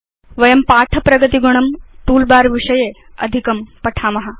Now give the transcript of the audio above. वयं पाठ प्रगतिगुणं तूल बर विषये अधिकं पठाम